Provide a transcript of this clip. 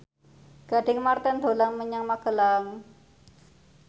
Gading Marten dolan menyang Magelang